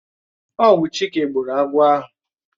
Ọwu Chike gburu agwọ̀ ahụ.